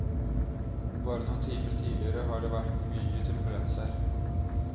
Bare noen timer tidligere har det vært mye turbulens her.